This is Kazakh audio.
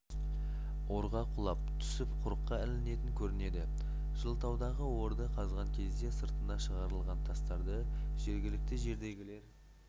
орға құлап түсіп құрыққа ілінетін көрінеді жылытаудағы орды қазған кезде сыртына шығарылған тастарды жергілікті жердегілер